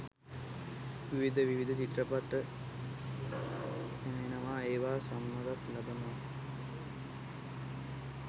විවිධ විවිධ චිත්‍රපට තැනෙනවා ඒවා සම්මානත් ලබනවා.